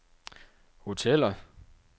hoteller